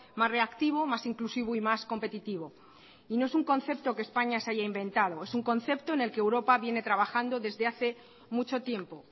más reactivo más inclusivo y más competitivo y no es un concepto que españa se haya inventado es un concepto en el que europa viene trabajando desde hace mucho tiempo